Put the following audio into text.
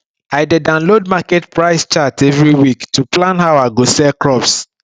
i dey download market price chart every week to plan how i go sell crops